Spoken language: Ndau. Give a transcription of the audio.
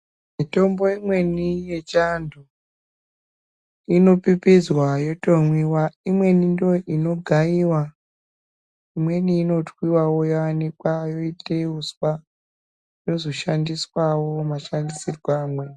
Mitombo imweni yechivantu inopipizwa yotomwiwa imweni ndoo inogayiwa imweni inotwiwawo yooanikwa yoitwe uswa yozoshandiswawo mashandisirwo amweni.